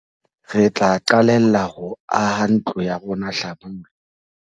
Re tla qalella ho aha ntlo ya rona hlabula.